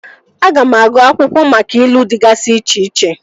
Aga m agụụ akwụkwọ maka ilu dịgasị iche iche